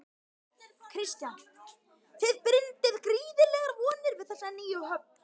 Kristján: Þið bindið gríðarlegar vonir við þessa nýju höfn?